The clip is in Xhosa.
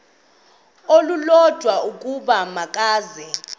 olulodwa ukuba makeze